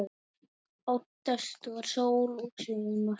Oftast var sól og sumar.